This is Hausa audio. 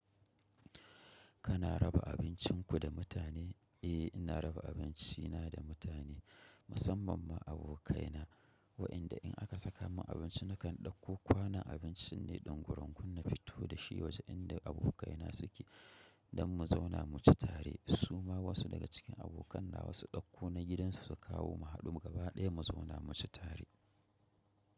Kana raba abincinku da mutane? Eh, ina raba abinci na da mutane musamman ma abokaina, wayanda in aka saka min abinci nakan ɗauko kwanon abincin ne ɗan gurungun na fito da shi wajen inda abokaina suke don mu zauna mu ci tare. Su ma wasu daga cikin abokan nawa su ɗauko na gidansu su kawo mu haɗu gaba ɗaya mu zauna mu ci tare.